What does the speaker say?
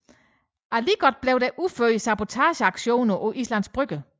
Alligevel blev der udført sabotageaktioner på Islands Brygge